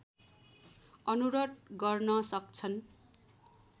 अनुरोध गर्न सक्छन्